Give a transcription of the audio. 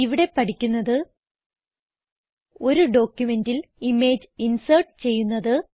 ഇവിടെ പഠിക്കുന്നത് ഒരു ഡോക്യുമെന്റിൽ ഇമേജ് ഇൻസേർട്ട് ചെയ്യുന്നത്